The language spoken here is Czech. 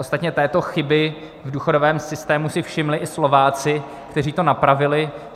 Ostatně této chyby v důchodovém systému si všimli i Slováci, kteří to napravili.